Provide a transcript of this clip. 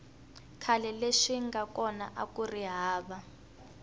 khale leswi swinga kona akuri hava